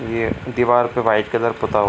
ये दिवार पे व्हाइट कलर पुता हुआ --